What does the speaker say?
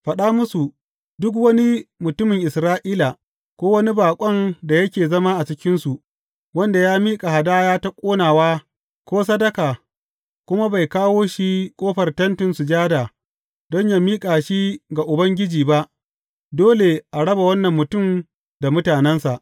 Faɗa musu, Duk wani mutumin Isra’ila ko wani baƙon da yake zama a cikinsu wanda ya miƙa hadaya ta ƙonawa ko sadaka kuma bai kawo shi a ƙofar Tentin Sujada don yă miƙa shi ga Ubangiji ba, dole a raba wannan mutum da mutanensa.